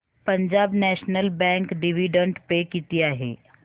Punjab National Bank dividend pay किती आहे